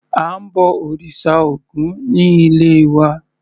À ń bọ òrìṣà Ògún ní ilé wa.